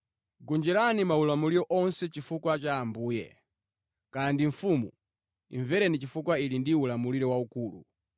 Gonjerani maulamuliro onse chifukwa cha Ambuye. Kaya ndi mfumu, imvereni chifukwa ili ndi ulamuliro waukulu,